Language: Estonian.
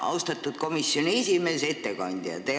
Austatud komisjoni esimees, ettekandja!